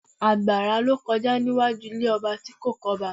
Àgbàrá ló kọjá níwájú ilé ọba tí kò kí ọba